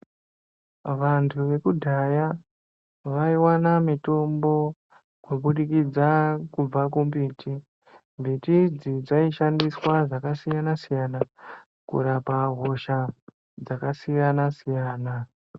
Vantu vekudhaya vaiwana mitombo kubudikidza kubva kumbiti. Mbiti idzi dzaishandiswa zvakasiyana- siyana, kurapa hosha dzakasiyana-siyana.